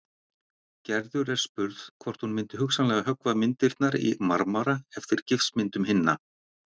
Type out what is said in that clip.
Gerður er spurð hvort hún myndi hugsanlega höggva myndirnar í marmara eftir gifsmyndum hinna.